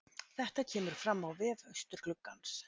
Þetta kemur fram á vef Austurgluggans